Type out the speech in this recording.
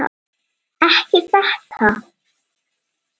Ekki þetta!